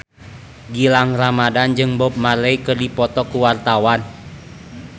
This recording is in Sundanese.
Gilang Ramadan jeung Bob Marley keur dipoto ku wartawan